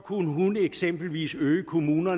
må